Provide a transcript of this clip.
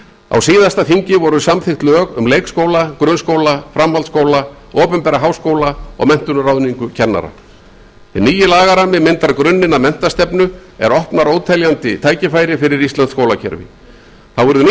á síðastliðnu þingi voru samþykkt lög um leikskóla grunnskóla framhaldsskóla opinbera háskóla og menntun og ráðningu kennara hinn nýi lagarammi myndar grunninn að menntastefnu er opnar óteljandi tækifæri fyrir íslenskt skólakerfi þá verður nýtt